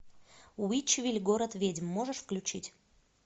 уитчвилль город ведьм можешь включить